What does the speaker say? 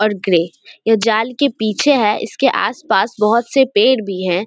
ओर grey ये जाल के पीछे है इसके आस-पास बहोत से पेड़ भी हैं।